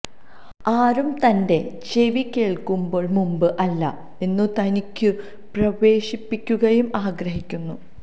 ആരും തന്റെ ചെവി കേൾക്കുമ്പോൾ മുമ്പ് അല്ല എന്നു തനിക്കു പ്രവേശിപ്പിക്കുകയും ആഗ്രഹിക്കുന്നു